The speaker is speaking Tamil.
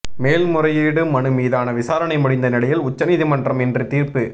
மேல்முறையீடு மனு மீதான விசாரணை முடிந்த நிலையில் உச்சநீதிமன்றம் இன்று தீர்ப்பு